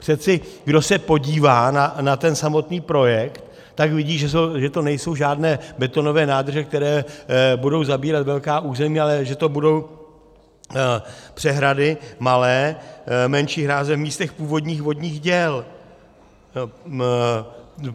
Přece kdo se podívá na ten samotný projekt, tak vidí, že to nejsou žádné betonové nádrže, které budou zabírat velká území, ale že to budou přehrady malé, menší hráze v místech původních vodních děl.